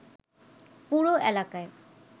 পুরো এলাকায়